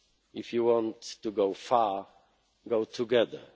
go alone. If you want to go far, go